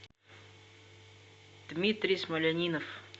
дмитрий смольянинов